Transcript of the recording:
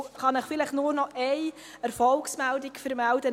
Ich kann Ihnen noch eine Erfolgsmeldung vermelden.